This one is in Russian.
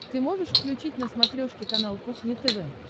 ты можешь включить на смотрешке канал кухня тв